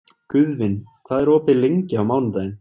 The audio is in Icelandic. Guðvin, hvað er opið lengi á mánudaginn?